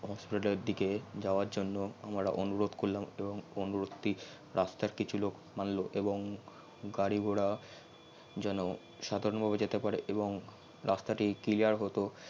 হাসপাতাল এর দিকে জাওয়ার জন্য আমরা অনুরোধ করলাম তো অনুরোধ টি রাস্তার কিছু লোক মানল এবং গারি ঘোড়া জেন সাধারন ভাবে জেতে পারে এবং রাস্তাটি clear হতো